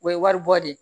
O ye wari bɔ de ye